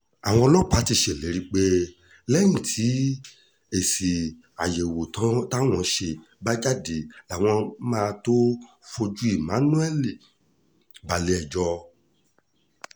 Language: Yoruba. àwọn ọlọ́pàá ti ṣèlérí pé lẹ́yìn tí èsì àyẹ̀wò táwọn ṣe bá jáde làwọn máa tóó fojú emmanuel balẹ̀-ẹjọ́